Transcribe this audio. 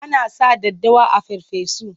Ana sa daddawa a farfesu.